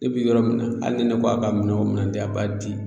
Ne bi yɔrɔ min na ali ni ne ko a ka minɛn o minɛn a b'a di